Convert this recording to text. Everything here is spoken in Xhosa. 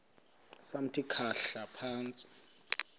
samthi khahla phantsi